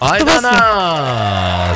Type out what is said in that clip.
айдана